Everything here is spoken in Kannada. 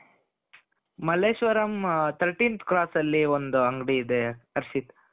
ಮಲ್ಲೇಶ್ವರಂ thirteenth cross ಅಲ್ಲಿ ಒಂದು ಅಂಗಡಿ ಇದೆ ಹರ್ಷಿತ್ .